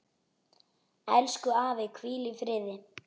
Elsku afi, hvíl í friði.